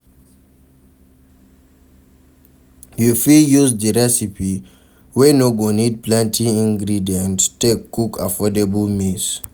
You fit use di recipe wey no go need plenty ingredient take cook affordable meals